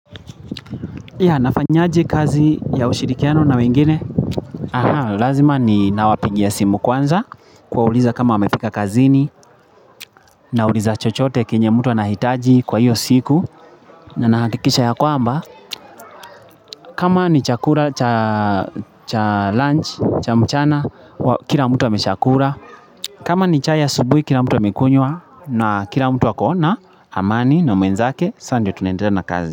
Yeah nafanyaje kazi ya ushirikiano na wengine Aha, lazima ni nawapigia simu kwanza Kuwauliza kama wamefika kazini Nauliza chochote kenye mtu anahitaji kwa hiyo siku na nakikisha ya kwamba kama ni chakula cha lunch, cha mchana Kila mtu ameshakula kama ni chai asubui, kila mtu amekunywa na kila mtu ako na amani na mwenzake, sa ndiyo tunaendela na kazi.